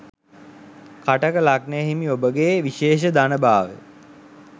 කටක ලග්නය හිමි ඔබගේ විශේෂ ධන භාවය